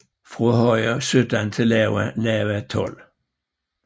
Fra høje 17 til lave 12